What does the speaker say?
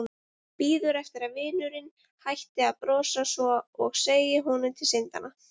Bíður eftir að vinurinn hætti að brosa svona og segi honum til syndanna.